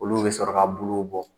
Olu bɛ sɔrɔ ka bulƐuw bɔ.